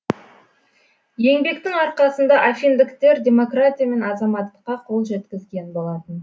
еңбектің арқасында афиндіктер демократия мен азаттыққа қол жеткізген болатын